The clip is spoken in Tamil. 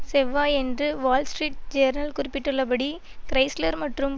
செவ்வாயன்று வால்ஸ்ட்ரீட் ஜேரல் குறிப்பிட்டுள்ளபடி கிரைஸ்லர் மற்றும்